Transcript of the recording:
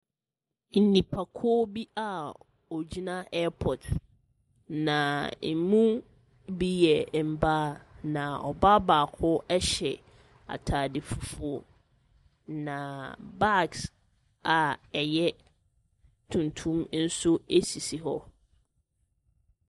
Nnipakuo bi a wɔgyina ɛɛpɔt na ɛmu bi yɛ mbaa na ɔbaa baako ɛhyɛ ataade fufuo na bags a ɛyɛ tuntum nso ɛsisi hɔ.